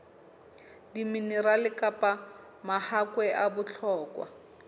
diminerale kapa mahakwe a bohlokwa